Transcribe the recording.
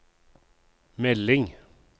melding